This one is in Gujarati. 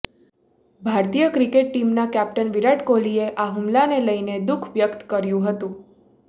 ભારતીય ક્રિકેટ ટીમના કેપ્ટન વિરાટ કોહલીએ આ હુમલાને લઇને દુખ વ્યક્ત કર્યું હતું